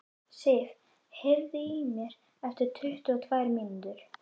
Sif, heyrðu í mér eftir tuttugu og tvær mínútur.